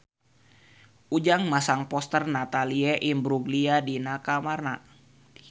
Ujang masang poster Natalie Imbruglia di kamarna